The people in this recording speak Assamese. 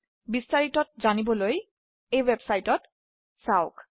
বিস্তাৰিতত জানিবৰ বাবে এই ওয়েবসাইট টি চাওক